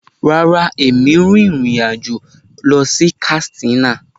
Rárá, èmi n rin ìrìn àjò lọ sí Katsina.